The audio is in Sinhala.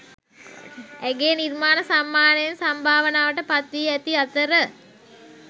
ඇගේ නිර්මාණ සම්මානයෙන් සම්භාවනාවට පත්වී ඇති අතර